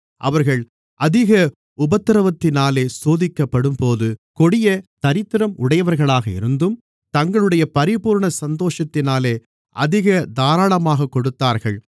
அவர்கள் அதிக உபத்திரவத்தினாலே சோதிக்கப்படும்போது கொடிய தரித்திரம் உடையவர்களாக இருந்தும் தங்களுடைய பரிபூரண சந்தோஷத்தினாலே அதிக தாராளமாகக் கொடுத்தார்கள்